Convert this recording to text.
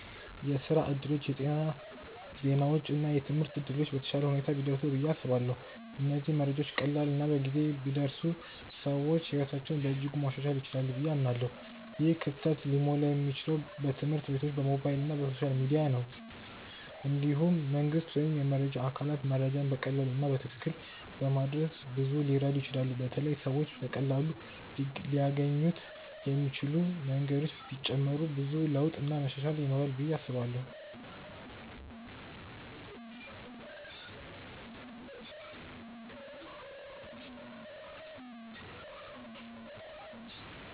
የስራ እድሎች፣ የጤና ዜናዎች እና የትምህርት እድሎች በተሻለ ሁኔታ ቢደርሱ ብዬ አስባለሁ። እነዚህ መረጃዎች ቀላል እና በጊዜ ቢደርሱ ሰዎች ሕይወታቸውን በእጅጉ ማሻሻል ይችላሉ ብዬ አምናለሁ። ይህ ክፍተት ሊሞላ የሚችለው በትምህርት ቤቶች፣ በሞባይል እና በሶሻል ሚዲያ ነው። እንዲሁም መንግስት ወይም የመረጃ አካላቶች መረጃን በቀላሉ እና በትክክል በማድረስ ብዙ ሊረዱ ይችላሉ በተለይ ሰዎች በቀላሉ ሊያገኙት የሚችሉ መንገዶች ቢጨመሩ ብዙ ለውጥ እና መሻሻል ይኖራል ብዬ አስባለው።